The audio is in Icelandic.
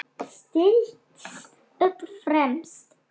Stillt upp fremst.